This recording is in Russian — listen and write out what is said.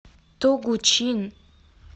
тогучин